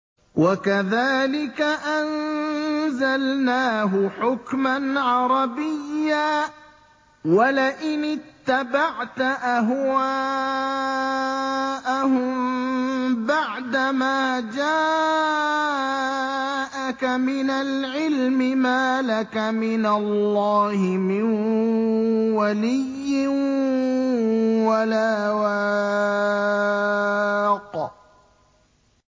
وَكَذَٰلِكَ أَنزَلْنَاهُ حُكْمًا عَرَبِيًّا ۚ وَلَئِنِ اتَّبَعْتَ أَهْوَاءَهُم بَعْدَمَا جَاءَكَ مِنَ الْعِلْمِ مَا لَكَ مِنَ اللَّهِ مِن وَلِيٍّ وَلَا وَاقٍ